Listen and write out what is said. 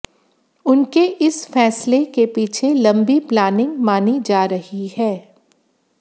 उनके इस फैसले के पीछे लंबी प्लानिंग मानी जा रही है